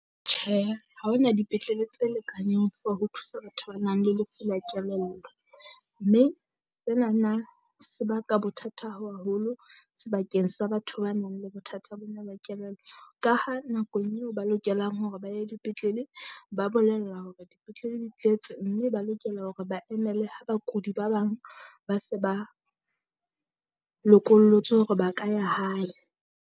Tjhe, ha ho na dipetlele tse lekaneng for ho thusa batho ba nang le lefu la kelello, mme senana se baka bothata haholo sebakeng sa batho ba nang le bothata bona ba kelello. Ka ha nakong eo ba lokelang hore ba ya dipetlele ba bolellwa hore dipetlele di tletse mme ba lokela hore ba emele ha bakudi ba bang ba se ba lokollotswe hore ba ka ya hae.